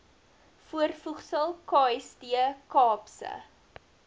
voorvoegsel kst kaapse